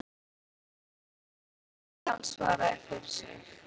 Það var greinilega ætlast til að hann svaraði fyrir sig.